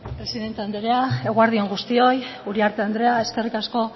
presidente andrea eguerdi on guztioi uriarte andrea eskerrik asko